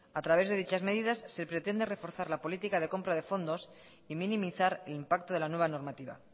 a través de dichas medidas se pretende reforzar la política de compra de fondos y minimizar el impacto de la nueva normativa